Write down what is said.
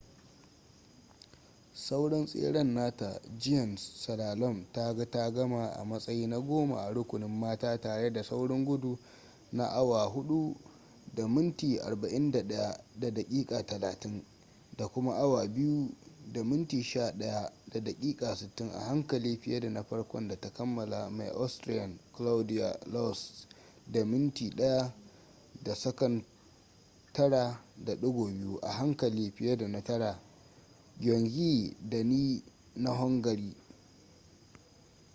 sauran tseren nata giant slalom ta ga ta gama a matsayi na goma a rukunin mata tare da saurin gudu na 4: 41.30 2: 11.60 a hankali fiye da na farkon da ta kammala mai austrian claudia loesch da minti 1: 09.02 a hankali fiye da na tara. gyöngyi dani na hungary